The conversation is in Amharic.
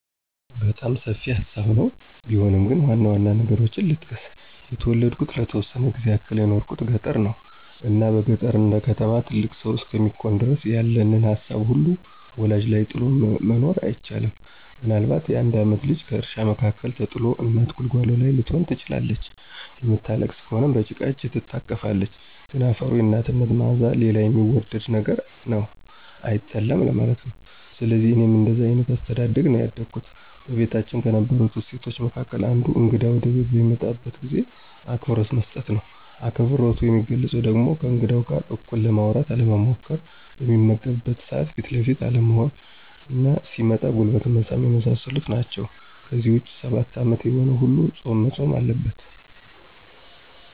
በጣም ሰፊ ሀሳብ ነው ቢሆንም ግን ዋናዋና ነገሮችን ልጥቀስ። የተወለድኩትና ለተወሰነ ጊዜ ያክል የኖርኩት ገጠር ነው። እና በገጠር እንደከተማ ትልቅ ሰው እስከሚኮን ድረስ ያለንን ሀሳብ ሁሉ ወላጅ ላይ ጥሎ መኖር አይቻልም። ምናልባት የአንድ ዓመት ልጅ ከእርሻ መካከል ተጥሎ እናት ጉልጓሎ ላይ ልትሆን ትችላለች። የምታለቅስ ከሆነ በጭቃ እጅ ትታቀፋለህ። ግን አፈሩና የናትህ ማዕዛ ሌላ የሚወደድ ነገር ነው፤ አይጠላም ለማለት ነው። ስለዚህ እኔም እንደዛ አይነት አስተዳደግ ነው ያደግኩት። በቤታችን ከነበሩ እሴቶች መካከል አንዱ እግዳ ወደቤት በሚመጣበት ጊዜ አክብሮት መስጠት ነው። አክብሮቱ የሚገለፀው ደግሞ ከእንግዳው ጋር እኩል ለማውራት አለመሞኰኰር፣ በሚመገብበት ሰዓት ፊት ለፊት አለመሆንና ሲመጣም ጉልበት መሳም የመሳሰሉት ናቸው። ከዚህ ውጭ ሰባት ዓመት የሆነው ሁሉ ፆም መፆም አለበት።